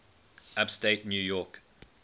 upstate new york